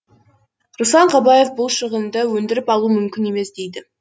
руслан қабаев бұл шығынды өндіріп алу мүмкін емес дейді